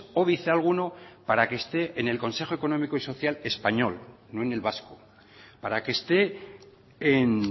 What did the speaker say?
óbice alguno para que esté en el consejo económico y social español no en el vasco para que esté en